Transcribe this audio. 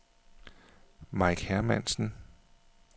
Mike Hermansen